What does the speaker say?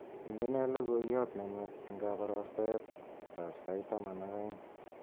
Indenee logoiyot nenwach eng kabarastaetab sait taman ak aeng